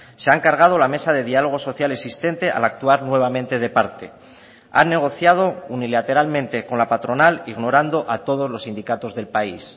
se han cargado la mesa de diálogo social existente al actuar nuevamente de parte han negociado unilateralmente con la patronal ignorando a todos los sindicatos del país